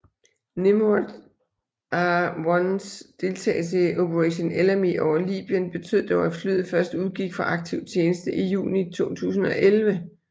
Nimrod R1s deltagelse i Operation Ellamy over Libyen betød dog at flyet først udgik fra aktiv tjeneste i juni 2011